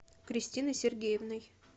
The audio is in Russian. кристиной сергеевной